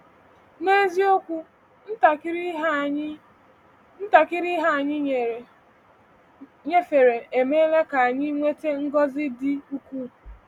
N’eziokwu, ntakịrị ihe anyị ntakịrị ihe anyị nyefere emeela ka anyị nweta ngọzi ndị ukwuu!